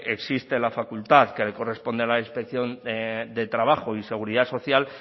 existe la facultad que le corresponde a la inspección de trabajo y seguridad social